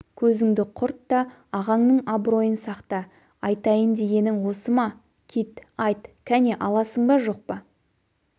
көзіңді құрт та ағаңның абыройын сақта айтайын дегенің осы ма кит айт кәне аласың ба жқ